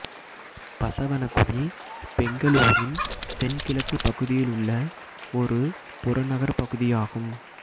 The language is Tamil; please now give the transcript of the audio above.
பசவனகுடி பெங்களூரின் தென்கிழக்கு பகுதியில் உள்ள ஒரு புறநகர் பகுதியாகும்